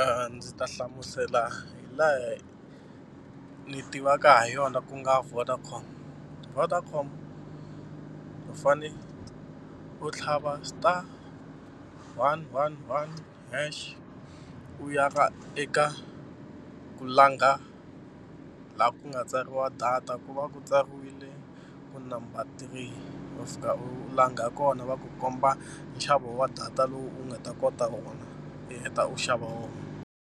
a ndzi ta hlamusela hi laha ni tivaka ha yona ku nga Vodacom, Vodacom u fanele u tlhava star one one one hash u ya ka eka ku langa laha ku nga tsariwa data ku va ku tsariwile ku number three u fika u langa kona va ku komba nxavo wa data lowu u nga ta kota wona u heta u xava wona.